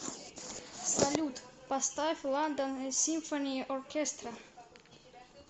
салют поставь ландон симфони оркестра